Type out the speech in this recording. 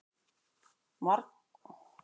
Margir voru mjög reiðir